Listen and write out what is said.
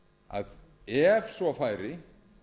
að ef svo færi